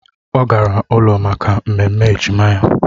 Ọ gara ụlọ maka ememme ejima ya